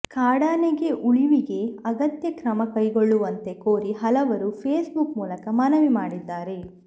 ಕಾಡಾನೆಗೆ ಉಳಿವಿಗೆ ಅಗತ್ಯ ಕ್ರಮ ಕೈಗೊಳ್ಳುವಂತೆ ಕೋರಿ ಹಲವರು ಫೇಸ್ಬುಕ್ ಮೂಲಕ ಮನವಿ ಮಾಡಿದ್ದಾರೆ